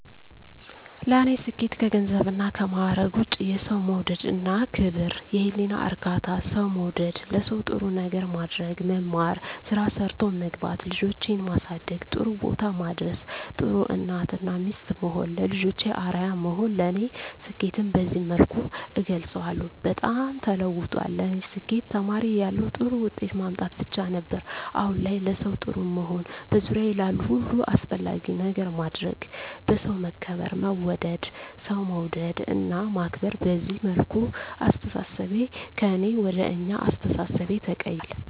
ለኔ ስኬት ከገንዘብና ከማረግ ውጭ፦ የሠው መውደድ እና ክብር፤ የህሊና እርካታ፤ ሠው መውደድ፤ ለሠው ጥሩ ነገር ማድረግ፤ መማር፤ ስራ ሠርቶ መግባት፤ ልጆቼን ማሠደግ ጥሩቦታ ማድረስ፤ ጥሩ እናት እና ሚስት መሆን፤ ለልጆቼ አርያ መሆን ለኔ ስኬትን በዚህ መልኩ እገልፀዋለሁ። በጣም ተለውጧል ለኔ ስኬት ተማሪ እያለሁ ጥሩ ውጤት ማምጣት ብቻ ነበር። አሁን ላይ ለሠው ጥሩ መሆን፤ በዙሪያዬ ላሉ ሁሉ አስፈላጊ ነገር ማድረግ፤ በሠው መከበር መወደድ፤ ሠው መውደድ እና ማክበር፤ በዚህ መልኩ አስተሣሠቤ ከእኔ ወደ አኛ አስተሣሠቤ ተቀይራል።